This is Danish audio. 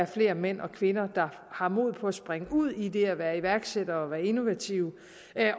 flere mænd og kvinder der har mod på at springe ud i det at være iværksættere og innovative